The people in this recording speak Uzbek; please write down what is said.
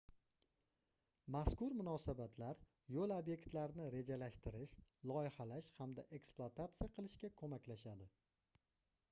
mazkur munosabatlar yoʻl obyektlarini rejalashtirish loyihalash hamda eksplutatsiya qilishga koʻmaklashadi